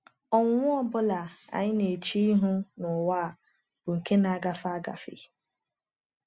Ọnwụnwa ọ bụla anyị na-eche ihu n’ụwa a bụ nke na-agafe agafe.